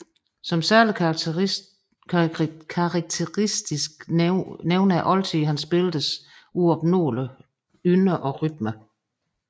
Som særlig karakteristisk nævner oldtiden hans billeders uopnåelige ynde og rytme